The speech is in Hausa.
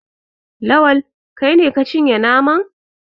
Lawal, kai ne ka cinye naman?